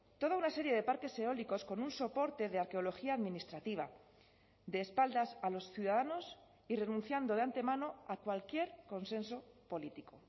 toda una serie de parques eólicos con un soporte de arqueología administrativa de espaldas a los ciudadanos y renunciando de antemano a cualquier consenso político